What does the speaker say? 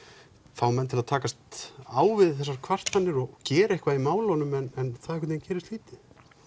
fá menn til þess að takast á við þessar kvartanir og gera eitthvað í málunum en það einhvern veginn gerist lítið